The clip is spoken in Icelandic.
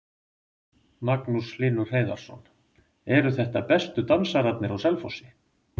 Magnús Hlynur Hreiðarsson: Eru þetta bestu dansararnir á Selfossi?